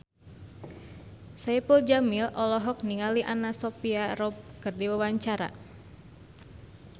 Saipul Jamil olohok ningali Anna Sophia Robb keur diwawancara